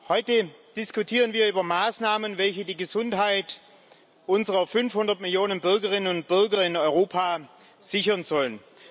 Heute diskutieren wir über Maßnahmen, welche die Gesundheit unserer 500 Millionen Bürgerinnen und Bürger in Europa sichern sollen.